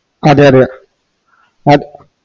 അതെ അതെ അത്